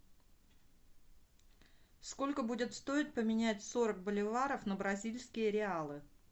сколько будет стоить поменять сорок боливаров на бразильские реалы